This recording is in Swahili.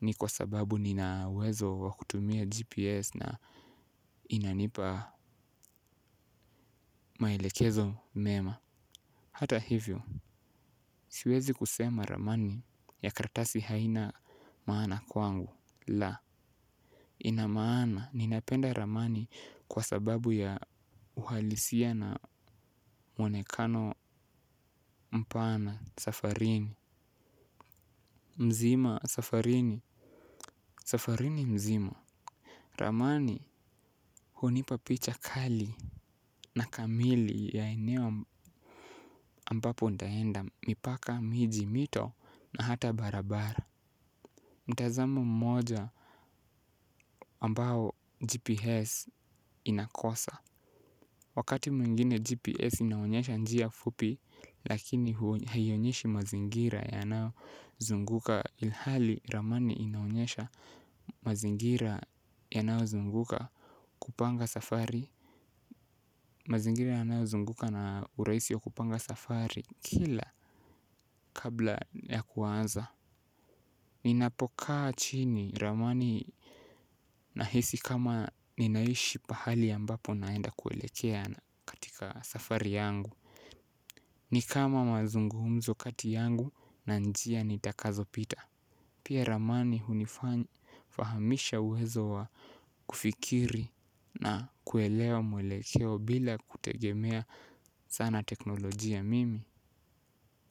ni kwa sababu nina uwezo wa kutumia GPS na inanipa maelekezo mema. Hata hivyo, siwezi kusema ramani ya karatasi haina maana kwangu. La ina maana ninapenda ramani kwa sababu ya uhalisia na mwonekano mpana safarini mzima safarini safarini mzima ramani hunipa picha kali. Na kamili ya eneo ambapo nitaenda mipaka miji mito na hata barabara mtazamo mmoja ambao GPS inakosa wakati mwingine GPS inaonyesha njia fupi lakini haionyeshi mazingira yanayozunguka ilhali ramani inaonyesha mazingira yanayozunguka kupanga safari. Mazingira yanazunguka na urahisi wa kupanga safari kila kabla ya kuanza. Ninapokaa chini ramani nahisi kama ninaishi pahali ambapo naenda kuelekea na katika safari yangu ni kama mazungumzo yangu na njia nitakazopita. Pia ramani hunifahamisha uwezo wa kufikiri na kuelewa mwelekeo bila kutegemea sana teknolojia mimi.